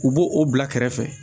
U b'o o bila kɛrɛfɛ